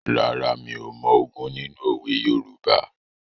Rárá, mi ò mọ ogún nínú òwe Yorùbá.